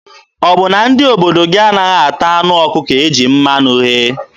Ọ bụ na ndị obodo gị anaghị ata anụ ọkụkọ e ji mmanụ ghee?